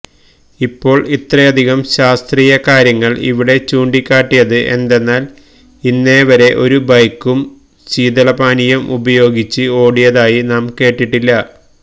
ഇപ്പോള് ഇത്രയധികം ശാസ്ത്രീയ കാര്യങ്ങള് ഇവിടെ ചൂണ്ടിക്കാട്ടിയത് എന്തെന്നാല് ഇന്നേവരെ ഒരു ബൈക്കും ശീതളപാനീയം ഉപയോഗിച്ച് ഓടിയതായി നാം കേട്ടിട്ടില്ല